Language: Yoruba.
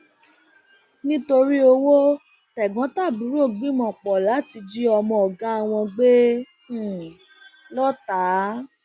um nítorí owó tẹgbọntàbúrò gbìmọpọ láti jí ọmọ ọgá wọn gbé um lọọta